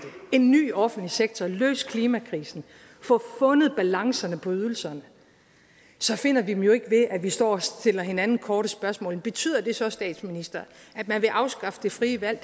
en ny offentlig sektor at løse klimakrisen at få fundet balancerne på ydelserne så finder vi dem jo ikke ved at vi står og stiller hinanden korte spørgsmål betyder det så statsminister at man vil afskaffe det frie valg